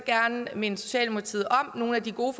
gerne minde socialdemokratiet om nogle af de gode